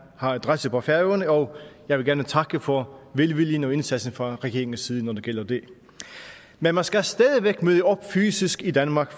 har adresse på færøerne og jeg vil gerne takke for velvillig indsats fra regeringens side når det gælder det men man skal stadig væk møde op fysisk i danmark